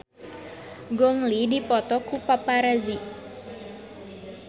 Gong Li dipoto ku paparazi